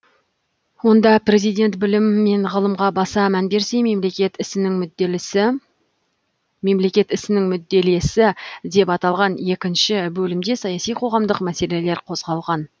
онда президент білім мен ғылымға баса мән берсе мемлекет ісінің мүдделесі деп аталған екінші бөлімде саяси қоғамдық мәселелер қозғалған